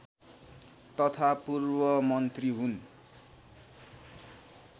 तथा पूर्वमन्त्री हुन्